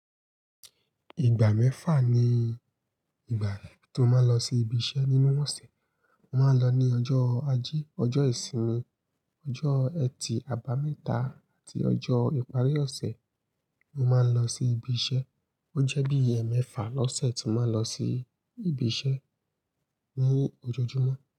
Ìgbà mẹ́fà ni ìgbà tí mó máa ń lọ sí ibi iṣẹ́ nínú ọ̀sẹ̀. Mo máa ń lọ ní ọjọ́ ajé, ọjọ́ ìsinmi, ọjọ́ ẹtì, àbámẹ́ta àti ọjọ́ ìparí ọ̀sẹ̀ mo máa ń lọ sí ibi iṣẹ́. O jẹ́ bí i ẹ mẹ́fà lọ́sẹ̀ tí mo máa ń lọ sí ibi iṣẹ́ ni ojoojúmọ́